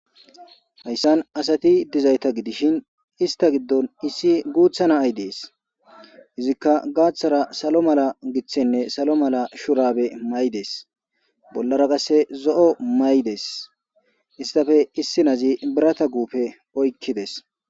Hayssan asati dizayta gidishin ista giddon issi guutha na ay dees izikka gaaththara salo mala giththenne salo mala shurabe maydes bollara qasse zo7o maydes istafe issi nazi birata guufe oykkides.